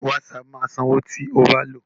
Wásaapù máa sanwó tí o bá lòó.